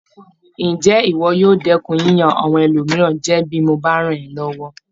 Ǹjé ìwọ yóò dẹ́kun yíyan àwọn ẹlòmíràn jẹ bí mo bá rán ọ́ lọ́wọ́?